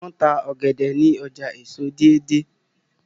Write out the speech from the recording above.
wón tá ògèdè ní ọjà èso Deidei.